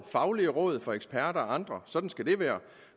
faglige råd fra eksperter og andre sådan skal det være